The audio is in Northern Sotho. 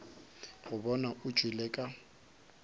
go bona o tšwele ka